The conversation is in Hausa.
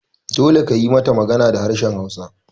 Dole kayi mata magana da harshen hausa!